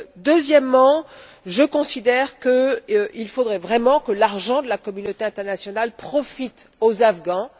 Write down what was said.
Deuxièmement, je considère qu'il faudrait vraiment que l'argent de la communauté internationale profite aux Afghans.